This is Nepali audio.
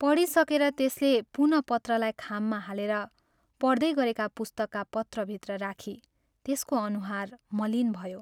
पढिसकेर त्यसले पुनः पत्रलाई खाममा हालेर पढ्दै गरेका पुस्तकका पत्रभित्र राखी त्यसको अनुहार मलिन भयो।